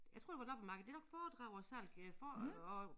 Jeg tror det var loppemarked det nok foredrag og salg øh for og